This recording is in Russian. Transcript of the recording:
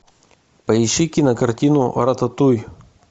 поищи кинокартину рататуй